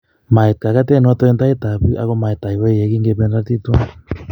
Mait kogotenon en tait ap pig, ago mait aiwei yegin kependoti tuwan.